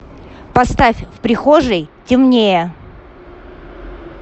поставь в прихожей темнее